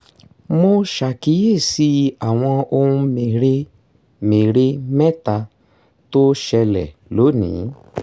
mo ṣàkíyèsí àwọn ohun mère-mère mẹ́ta tó ṣẹlẹ̀ lónìí